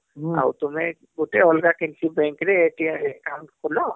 ହୁଁ ଆଉ ତୁମେ ଗୁଟେ ଅଲଗା କେନସି bank ରେ account ଖୁଲ